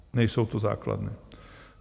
Nejsou to základny.